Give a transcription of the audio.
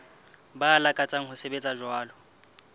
ba lakatsang ho sebetsa jwalo